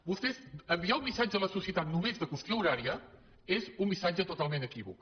vostès enviar un missatge a la societat només de qüestió horària és un missatge totalment equívoc